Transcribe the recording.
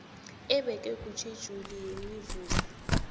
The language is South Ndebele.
ebekwe kutjhejuli yemivuzo